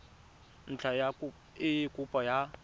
ntlha ya eng kopo ya